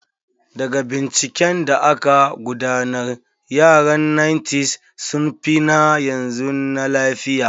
Daga binciken da aka gudanar, yaran 1900s sun fi na yanzu na lafiya.